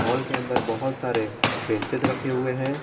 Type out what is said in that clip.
Hall के अंदर बहुत सारे बेंचेज रखे हुए हैं।